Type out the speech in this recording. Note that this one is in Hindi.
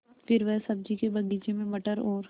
फिर वह सब्ज़ी के बगीचे में मटर और